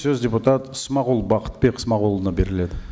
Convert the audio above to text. сөз депутат смағұл бақытбек смағұлұлына беріледі